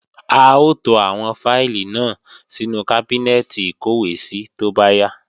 A ó to àwọn fáìlì náà sínú kábínẹ́ẹ̀tì ìkọ́wèésí tó bá yá